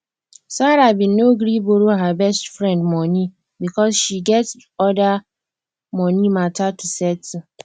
sarah been no gree borrow her best friend money because she get other money matter to settle